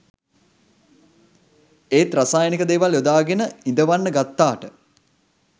එත් රසායනික දෙවල් යොදගෙන ඉදවන්න ගත්තට